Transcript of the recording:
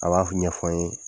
A b'a ɲɛfɔ n ye.